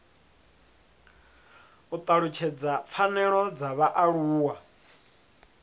u talutshedza pfanelo dza vhaaluwa